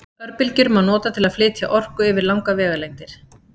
örbylgjur má nota til að flytja orku yfir langar vegalengdir